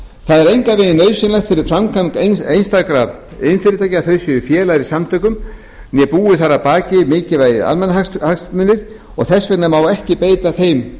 það er engan veginn nauðsynlegt fyrir framgang einstakra iðnfyrirtækja að þau séu félagar í samtökunum né búi þar að baki mikilvægir almannahagsmunir og þess vegna má ekki beita þeim